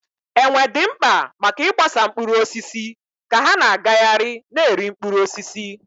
Enwe dị mkpa maka ịgbasa mkpụrụ osisi ka ha na-agagharị na-eri mkpụrụ osisi.